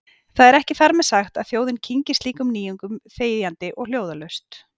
Það er ekki þar með sagt að þjóðin kyngi slíkum nýjung- um þegjandi og hljóðalaust.